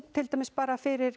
til dæmis bara fyrir